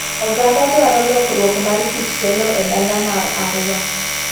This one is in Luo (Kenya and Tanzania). Oganda dwaro lorruok mar kit telo e dala mar Arua.